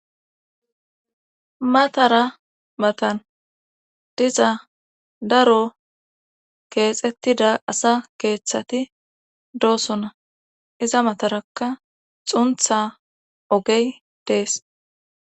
matara matan diza daro keexettida asa keeththati doosona iza mataraka xunththa ogey dees.